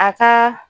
A ka